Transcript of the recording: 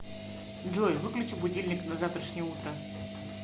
джой выключи будильник на завтрашнее утро